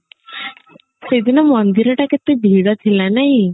ସେଦିନ ମନ୍ଦିର ଟା କେତେ ଭିଡ ଥିଲା ନାଇଁ